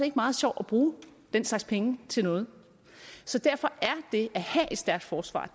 ikke meget sjovt at bruge den slags penge til noget så derfor er det at have et stærkt forsvar